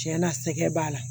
Tiɲɛ na sɛgɛn b'a la